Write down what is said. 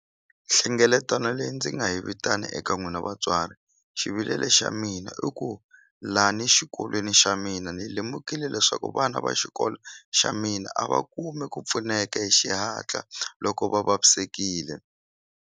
Nhlengeletano leyi ndzi nga yi vitana eka n'wina vatswari xivilele xa mina i ku lani xikolweni xa mina ni lemukile leswaku vana va xikolo xa mina a va kumi ku pfuneka hi xihatla loko va vavisekile.